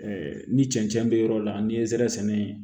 ni cɛncɛn be yɔrɔ la ni nsɛrɛ sɛnɛ